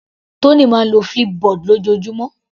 Tony máa ń lo Flipboard lójoojúmọ́.